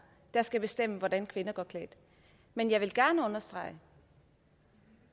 der skal bestemme hvordan kvinder går klædt men jeg vil gerne understrege at